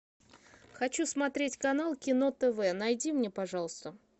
хочу смотреть канал кино тв найди мне пожалуйста